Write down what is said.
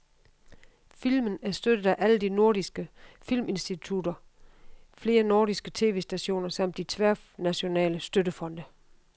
Filmen er støttet af alle de nordiske filminstitutter, flere nordiske tv-stationer samt de tværnationale støttefonde.